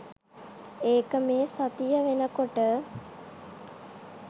ඒක මේ සතිය වෙනකොට.